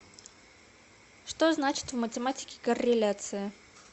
что значит в математике корреляция